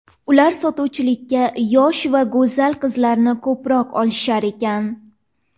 Ular sotuvchilikka yosh va go‘zal qizlarni ko‘proq olishar ekan.